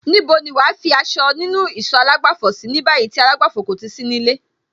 Níbo ni wàá fi aṣọ nínú ìsọ̀ àlágbàfọ̀ sí ní báyìí tí àlágbàfọ̀ kò ti sí nílé?